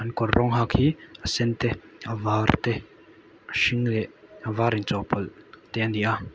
kawr rawng hak hi a sen te avar te a hring leh a var in chawhpawlh te a ni a--